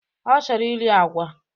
Ọ chọrọ iri agwa.